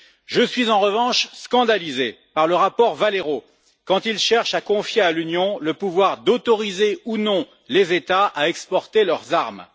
Je suis, en revanche, scandalisé par le rapport Valero quand il cherche à confier à l'Union le pouvoir d'autoriser ou non les États à exporter leurs armes.